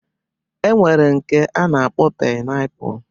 E nwere nke a na-akpọ painapu